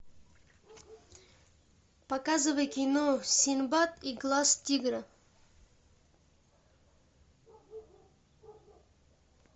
показывай кино синдбад и глаз тигра